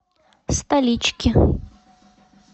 столички